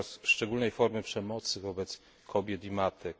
To wyraz szczególnej formy przemocy wobec kobiet i matek.